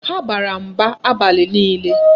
Ha bara mba abalị niile.